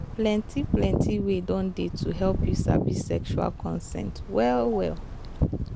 plenty plenty way don dey to help you sabi sexual consent well well